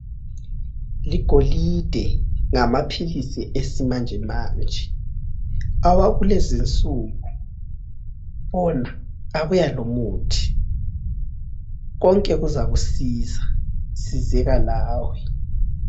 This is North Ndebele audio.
Ligolide ngamaphilisi esimanje manje akulezi nsuku. Bona abuya lomuthi konke kuzakusiza .Sizeka lawe.